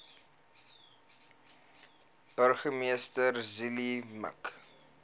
burgemeester zille mik